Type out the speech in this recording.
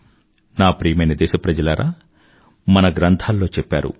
నా ప్రియమైన దేశప్రజలారా మన గ్రంధాల్లో చెప్పారు